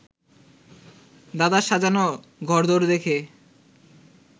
দাদার সাজানো ঘরদোর দেখে